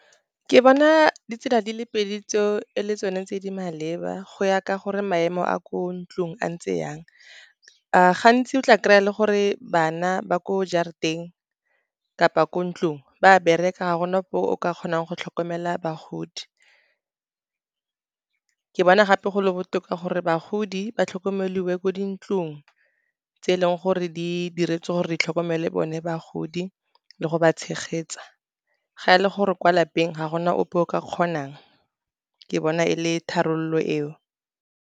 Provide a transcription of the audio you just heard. Ke bona ditsela di le pedi tseo e le tsone tse di maleba, go ya ka gore maemo a ko ntlong a ntse jang. Gantsi o tla kry-a e le gore bana ba ko jarateng kapa ko ntlong, ba bereka ga gona o ka kgonang go tlhokomela bagodi, ke bona gape go le botoka gore bagodi ba tlhokomeliwe ko dintlong, tse e leng gore di diretswe gore di tlhokomele bone bagodi le go ba tshegetsa. Ga e le gore kwa lapeng ga gona ope o ka kgonang, ke bona e le tharabololo eo.